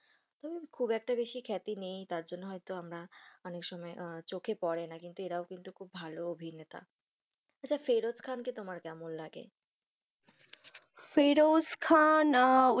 তবে খুব একটা বেশি খ্যাতি নেই, তারজন্য হয়তো আমরা অনেক সময় চোখে পরে না, কিন্তু এরা ও কিন্তু খুব ভালো অভিনেতা, আচ্ছা, ফেরশ খানকে তোমার কেমন লাগে, ফেরশ খান আ,